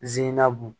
N zenna bon